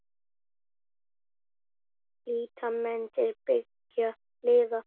Líta menn til beggja hliða?